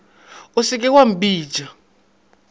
o se ke wa mpitša